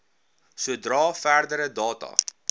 sodra verdere data